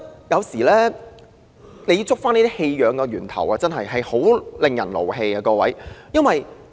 有時追溯這些棄養個案的源頭故事，真的令人非常生氣。